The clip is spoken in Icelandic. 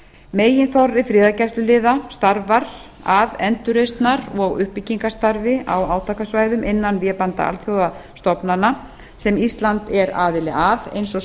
meginþorri friðargæsluliða starfar að endurreisnar og uppbyggingarstarfi á átakasvæðum innan vébanda alþjóðastofnana sem ísland er aðili að eins og